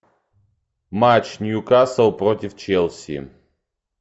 матч нью касл против челси